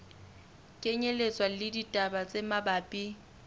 kenyelletswa le ditaba tse mabapi